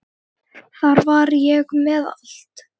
Þar var ég með allt.